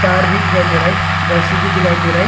तार भी दिखाई दे रहा है रस्सी भी दिखाई दे रहा है।